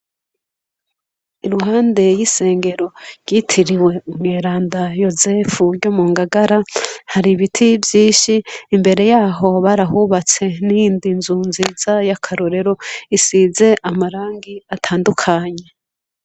Iruhande y’isengero ryitiriwe umweranda Yosefu ryo mu ngagara, hari ibiti vyinshi imbere yaho barahubatse n’iyindi nzu nziza yakarorero isize amarangi atandukanye.